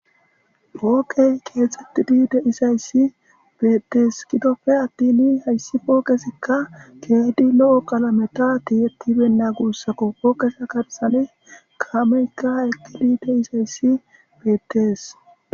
Poqeyi keethetida dizayisi beettesi gidoppe attin hayisi poqezika kehippe loo qalameni tiyetida beyina gusakko poqeppe garisara kameyika eqidi deizayisi beettesi